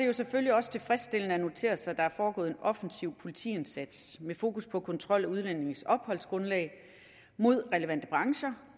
det selvfølgelig også tilfredsstillende at notere sig at der er foregået en offensiv politiindsats med fokus på kontrol af udlændinges opholdsgrundlag mod relevante brancher